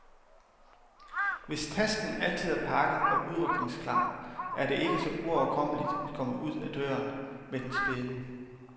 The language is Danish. Hvis tasken altid er pakket og udrykningsklar, er det ikke så uoverkommeligt at komme ud ad døren med den spæde.